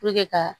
ka